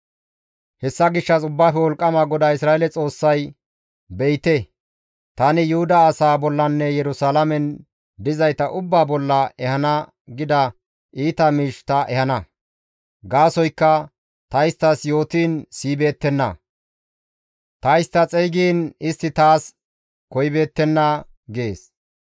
Hessa gishshas Ubbaafe Wolqqama GODAA Isra7eele Xoossay, «Be7ite; tani Yuhuda asaa bollanne Yerusalaamen dizayta ubbaa bolla ehana gida iita miish ta ehana; gaasoykka ta isttas yootiin siyibeettenna; ta istta xeygiin istti taas koyibeettenna» gees.